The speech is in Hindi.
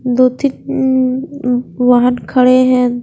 दो थी उम्म उम्म वाहन खड़े हैं।